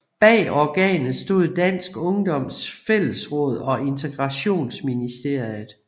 Bag organet stod Dansk Ungdoms Fællesråd og Integrationsministeriet